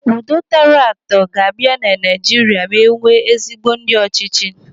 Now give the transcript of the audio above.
Udo tọrọ atọ ga-abịa na Naijiria ma enwee ezigbo ndị ọchịchị.